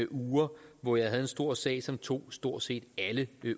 uger hvor jeg havde en stor sag som tog stort set alle